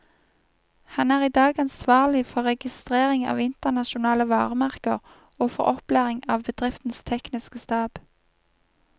Han er i dag ansvarlig for registrering av internasjonale varemerker, og for opplæring av bedriftens tekniske stab.